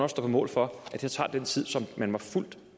stå på mål for at det tager den tid som man var fuldt